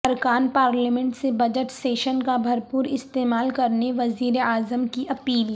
ارکان پارلیمنٹ سے budget session کا بھر پوراستعمال کرنے وزیراعظم کی اپیل